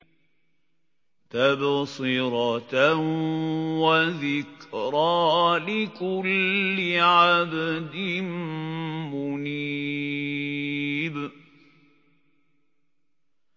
تَبْصِرَةً وَذِكْرَىٰ لِكُلِّ عَبْدٍ مُّنِيبٍ